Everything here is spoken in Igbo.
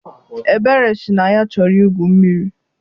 Ebere sị na ya chọrọ igwu mmiri.